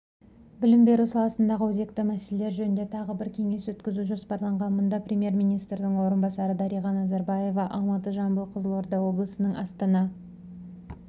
білім беру саласындағы өзекті мәселелер жөнінде тағы бір кеңес өткізу жоспарланған мұнда премьер-министрдің орынбасары дариға назарбаева алматы жамбыл қызылорда облысының астана